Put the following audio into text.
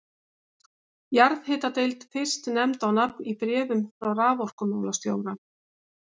Jarðhitadeild fyrst nefnd á nafn í bréfum frá raforkumálastjóra.